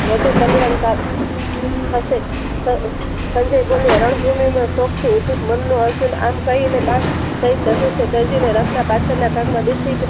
વધુ કલ્યાણ કાર થશે સંજય બોલ્યા રણ ભૂમિ માં શોખથી યુધિ થી મન આમ કહીને ધનુસ્ય ત્યજીને રાત ના પાછળ ના ભાગે